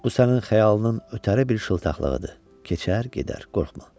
Bu sənin xəyalının ötəri bir şıltaqlığıdır, keçər, gedər, qorxma.